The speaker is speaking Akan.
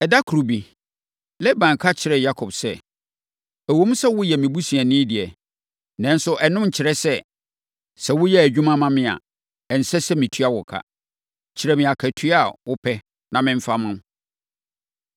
Ɛda koro bi, Laban ka kyerɛɛ Yakob sɛ, “Ɛwom sɛ woyɛ me busuani deɛ, nanso ɛno nkyerɛ sɛ, sɛ woyɛ adwuma ma me a ɛnsɛ sɛ metua wo ka. Kyerɛ me akatua a wopɛ na memfa mma wo.”